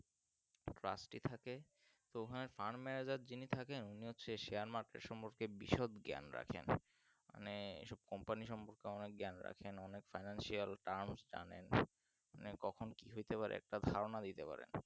থাকে তো হ্যাঁ farm manager যিনি থাকে সে share market সম্পর্কে বিশদ জ্ঞান রাখেন মানে এইসব company সম্পর্কে অনেক জ্ঞান রাখেন অনেক Financial terms জানেন মানে কখন কি হইতে পারে একটা ধারণা দিতে পারে